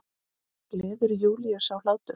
Gleður Júlíu sá hlátur.